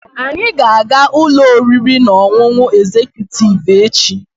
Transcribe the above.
We will Anyị ga-aga ụlọ oriri na ọṅụṅụ egzekutiivu echi.